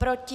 Proti?